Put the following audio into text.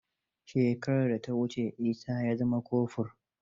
Shekarar da ta wuce Isa ya zama kofur.